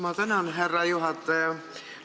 Ma tänan, härra juhataja!